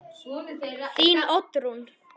Þín Oddrún.